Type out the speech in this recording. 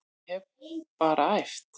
Ég hef bara æft.